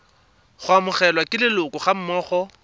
go amogelwa ke leloko gammogo